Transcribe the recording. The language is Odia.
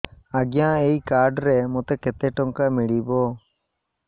ଆଜ୍ଞା ଏଇ କାର୍ଡ ରେ ମୋତେ କେତେ ଟଙ୍କା ମିଳିବ